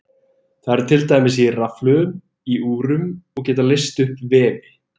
Þau eru til dæmis í rafhlöðum í úrum og geta leyst upp vefi.